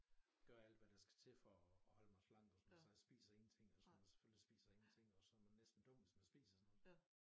Gør alt hvad der skal til for at holde mig slank så jeg spiser ingenting og sådan noget selvfølgelig spiser jeg ingenting og så er man næsten dum hvis man spiser sådan noget